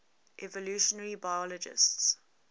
evolutionary biologists